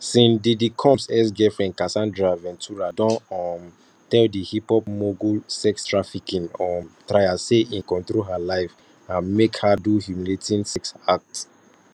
sean diddy combs exgirlfriend casandra ventura don um tell di hiphop mogul sextrafficking um trial say e control her life and make her do humiliating sex acts